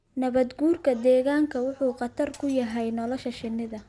Nabaad-guurka deegaanku wuxuu khatar ku yahay nolosha shinnida.